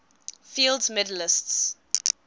fields medalists